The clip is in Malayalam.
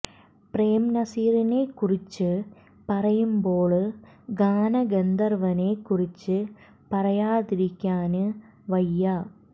പ്രേം നസീറിനെ കുറിച്ച് പറയുമ്പോള് ഗാന ഗന്ധര്വ്വനെ കുറിച്ച് പറയാതിരിക്കാന് വയ്യ